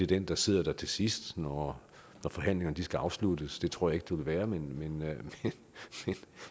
den der sidder der til sidst når forhandlingerne skal afsluttes det tror jeg ikke det vil være men